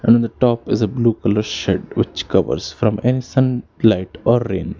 And the top is a blue colour shade which covers from an sunlight or rain.